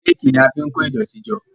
Réèkì ní a fín kọ idoti jọ.